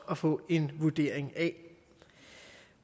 at få en vurdering af